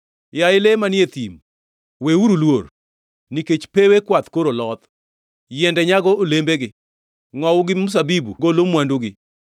Yaye le manie thim, weuru luor; nikech pewe kwath koro loth, yiende nyago olembegi; Ngʼowu gi mzabibu golo mwandugi.